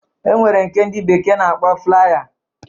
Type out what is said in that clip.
E nwere nke dị bekee na-akpọ flaya